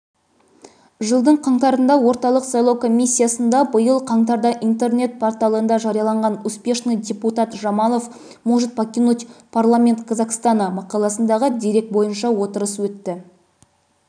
жылдың қаңтарында орталық сайлау комиссиясында биыл қаңтарда интернет-порталында жарияланған успешный депутат жамалов может покинуть парламент казахстана мақаласындағы дерек бойынша отырыс өтті